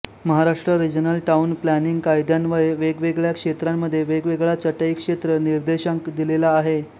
Maharashtra regional town planning कायद्यान्वये वेगवेगळया क्षेत्रांमध्ये वेगवेगळा चटई क्षेत्र निर्देशांक दिलेला आहे